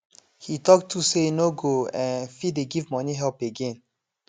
he talk true say e no go um fit dey give money help again